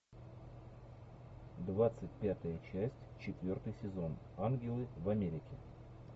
двадцать пятая часть четвертый сезон ангелы в америке